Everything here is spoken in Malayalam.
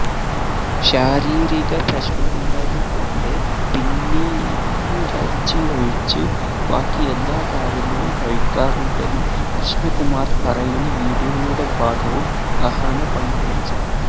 ശാരീരിക പ്രശനമുള്ളതു കൊണ്ട് പിന്നിയിറച്ചിയൊഴിച്ച് ബാക്കി എല്ലാ കാര്യങ്ങളും കഴിക്കാറുണ്ടെന്ന് കൃഷ്ണ കുമാര് പറയുന്ന വീഡിയോയുടെ ഭാഗവും അഹാന പങ്കുവെച്ചു